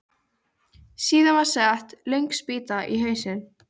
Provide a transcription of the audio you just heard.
Síðan var sett löng spýta á hausinn.